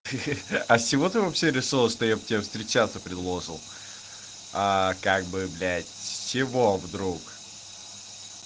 хе хе а с чего ты вообще решила что я б тебе встречаться предложил а как бы блять с чего вдруг